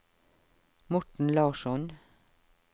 Morten Larsson